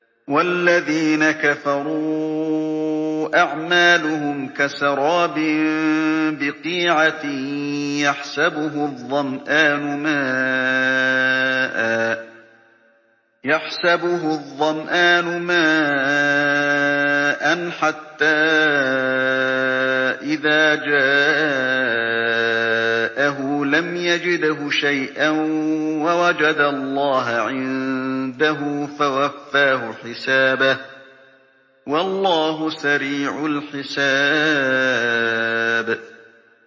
وَالَّذِينَ كَفَرُوا أَعْمَالُهُمْ كَسَرَابٍ بِقِيعَةٍ يَحْسَبُهُ الظَّمْآنُ مَاءً حَتَّىٰ إِذَا جَاءَهُ لَمْ يَجِدْهُ شَيْئًا وَوَجَدَ اللَّهَ عِندَهُ فَوَفَّاهُ حِسَابَهُ ۗ وَاللَّهُ سَرِيعُ الْحِسَابِ